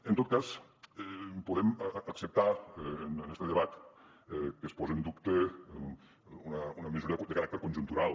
en tot cas podem acceptar en este debat que es pose en dubte una mesura de caràcter conjuntural